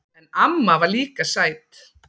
En amma var líka sæt.